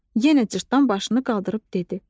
Yenə cırtdan başını qaldırıb dedi.